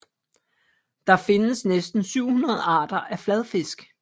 Der findes næsten 700 arter af fladfisk